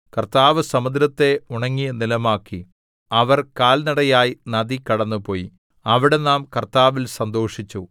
കർത്താവ് സമുദ്രത്തെ ഉണങ്ങിയ നിലമാക്കി അവർ കാൽനടയായി നദി കടന്നുപോയി അവിടെ നാം കർത്താവിൽ സന്തോഷിച്ചു